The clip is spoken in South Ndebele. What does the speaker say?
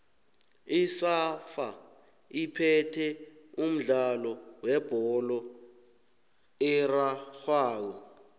isafa iphethe umdlalo webholo erarhwako